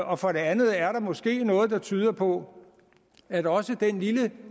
og for det andet er der måske noget der tyder på at også den lille